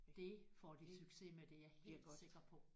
Det får de succes med det er jeg helt sikker på